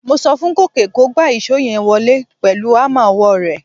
Mo so fún Gòkè kó gba ìṣó yẹn wọlé pẹ̀lú hámà ọwọ́ rẹ̀.